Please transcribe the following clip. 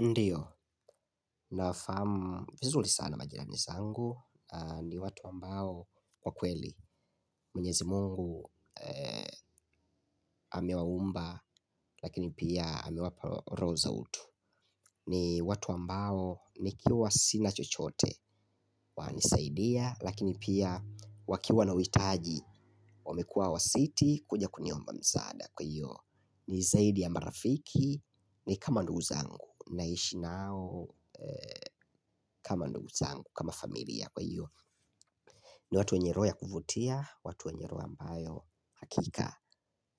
Ndiyo, nafaamu vizuri sana majirani zangu, ni watu ambao kwa kweli, mwenyezi mungu amewaumba, lakini pia ame wapa roho za utu. Ni watu ambao nikiwa sina chochote, wananisaidia, lakini pia wakiwa na witaji, wamekua hawasiti, kuja kuniomba msaada kwa hiyo. Ni zaidi ya marafiki, ni kama ndugu zangu, naishi nao kama ndugu zangu, kama familia kwa hiyo. Ni watu wenye roho ya kuvutia, watu wenye roho ambayo hakika